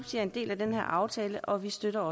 er en del af den her aftale og vi støtter